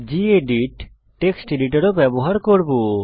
gedit text editor ও ব্যবহার করব